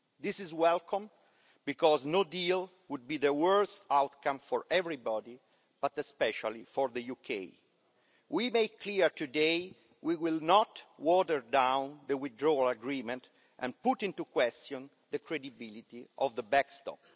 This is welcome because no deal would be the worst outcome for everybody, but especially for the UK. We make clear today, we will not water down the Withdrawal Agreement and put into question the credibility of the backstop.